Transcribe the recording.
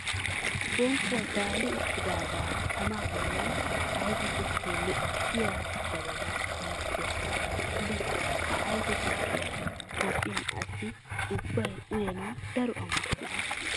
Bonqquwa gaali uttida tamaa boollan ayfe tukkee lo'iya jabanan penttuwa tultulees. Ha ayfe tukkiya Toophphen asi ubbi uyanawu daro amottees.